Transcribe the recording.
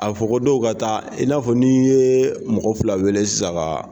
A fɔ ko dɔw ka taa i n'a fɔ n' ye mɔgɔ fila wele sisan